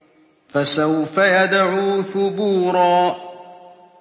فَسَوْفَ يَدْعُو ثُبُورًا